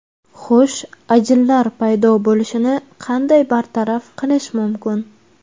Xo‘sh, ajinlar paydo bo‘lishini qanday bartaraf qilish mumkin?